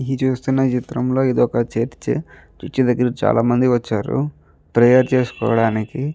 ఈ చూస్తున చిత్రం లొ ఇది ఒక చర్చ్ చర్చ్ దగ్గర చాల మంది వచ్చారు ప్రేయర్ చేసుకోవడానికి --